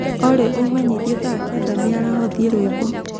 olly umenyĩthĩe thaa kenda mĩaraho thĩe rwĩmbo